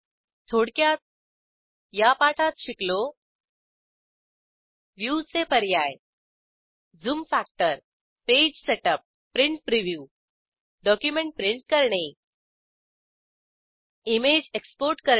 थोडक्यात या पाठात शिकलो व्ह्यूचे पर्याय zoom factor page setup print preview document print करणे इमेज एक्सपोर्ट करणे